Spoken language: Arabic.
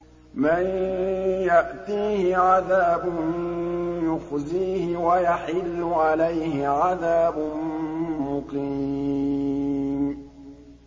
مَن يَأْتِيهِ عَذَابٌ يُخْزِيهِ وَيَحِلُّ عَلَيْهِ عَذَابٌ مُّقِيمٌ